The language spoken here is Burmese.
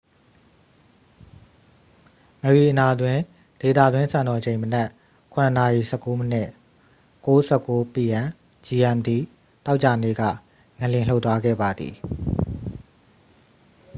မရီအနာတွင် ဒေသတွင်းစံတော်ချိန် မနက် ၇ နာရီ ၁၉ မိနစ် ၀၉:၁၉ p.m. gmt သောကြာနေ့ က ငလျင်လှုပ်သွားခဲ့ပါသည်။